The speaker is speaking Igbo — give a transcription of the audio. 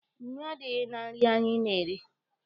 Nnu adịghị na nri anyị na-eri.